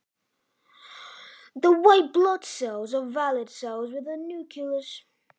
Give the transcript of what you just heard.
Hvítu blóðkornin eru fullgildar frumur með kjarna.